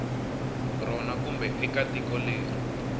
rona kumbe eka tiko leri